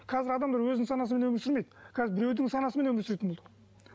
қазір адамдар өзінің санасымен өмір сүрмейді қазір біреудің санасымен өмір сүретін болдық